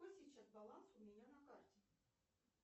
какой сейчас баланс у меня на карте